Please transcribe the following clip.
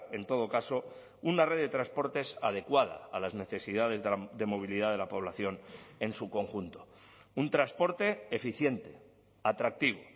en todo caso una red de transportes adecuada a las necesidades de movilidad de la población en su conjunto un transporte eficiente atractivo